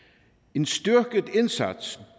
en styrket indsats